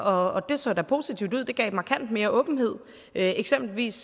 og det så da positivt ud det gav markant mere åbenhed eksempelvis